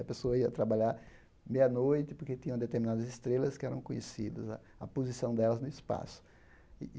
A pessoa ia trabalhar meia-noite porque tinham determinadas estrelas que eram conhecidas, a a posição delas no espaço.